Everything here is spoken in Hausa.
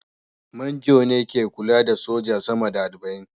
Manjo ne ke kula da soja sama da arba'in